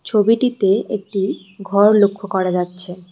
ছবিটিতে একটি ঘর লক্ষ্য করা যাচ্ছে।